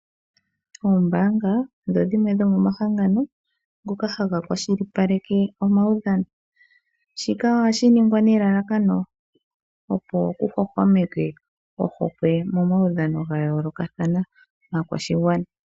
Oombaanga odho dhimwe dhomomahangano ngoka haga kwashilipaleke omaudhano . Shika ohashi ningwa nelalakano opo kuhwahwameke ohokwe momaudhano gayoolokathana gaakwashigwana.